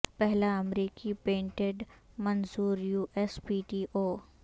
پہلا امریکی پیٹنٹ منظور یو ایس پی ٹی او